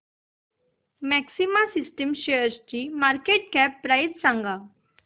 maxima systems शेअरची market cap price सांगा